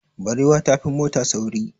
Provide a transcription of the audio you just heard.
Barewa ta fi mota sauri.